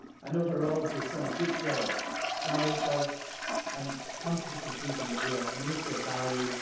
Overall he has done a good job, challenged us and come to the conclusion that we are a community of values.